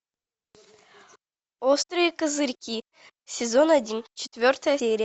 острые козырьки сезон один четвертая серия